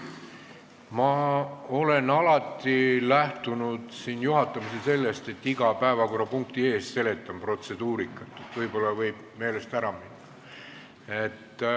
Ma olen alati lähtunud juhatamisel sellest, et iga päevakorrapunkti ees seletan protseduurikat, sest see võib meelest ära minna.